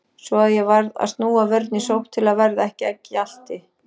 Svo að ég varð að snúa vörn í sókn til að verða ekki að gjalti.